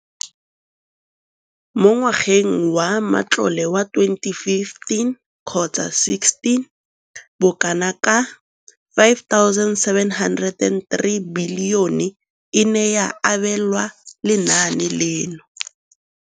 Mo ngwageng wa matlole wa 2015,16, bokanaka R5 703 bilione e ne ya abelwa lenaane leno.